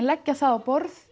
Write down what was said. leggja það á borð